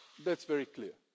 That's very clear.